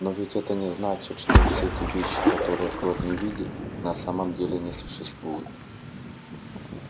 но ведь это не значит что все те вещи которые крот не видит на самом деле не существуют